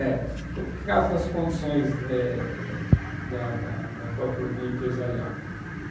É, por causa das condições eh da da da própria empresarial.